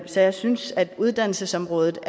så jeg synes at uddannelsesområdet